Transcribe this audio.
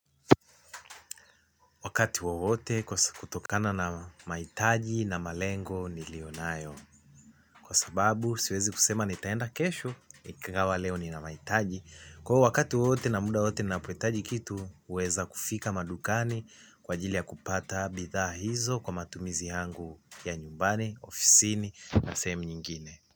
Wakati wowote kwa kutokana na mahitaji na malengo niliyonayo. Kwa sababu siwezi kusema nitaenda kesho ikawa leo nina mahitaji. Kwa hiyo wakati wowote na muda wowote ninapohitaji kitu huweza kufika madukani kwa ajili ya kupata bidhaa hizo kwa matumizi yangu ya nyumbani, ofisini na sehemu nyingine.